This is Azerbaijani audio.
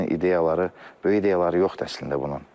Bunun ideyaları, böyük ideyaları yoxdur əslində bunun.